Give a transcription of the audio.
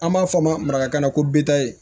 An b'a fɔ ma maraka na ko bita ye